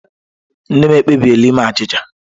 Nne m ekpebiela ime achịcha